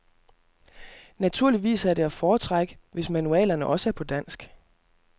Naturligvis er det at foretrække, hvis manualerne også er på dansk.